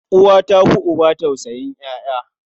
Uwa ta fi uba tausayin ƴaƴa.